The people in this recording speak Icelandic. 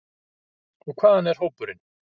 Og hvaðan er hópurinn?